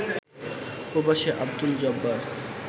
প্রবাসী আবদুল জব্বার